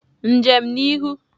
Njem n'ihu!